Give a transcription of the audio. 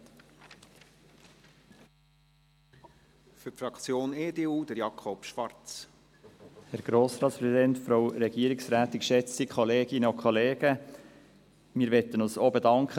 Wir möchten uns bei der Regierung und Verwaltung ebenfalls für diesen Bericht bedanken.